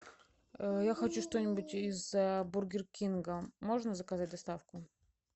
я хочу что нибудь из бургер кинга можно заказать доставку